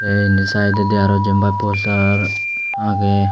ay indi siteondi aro jampai posa aagay.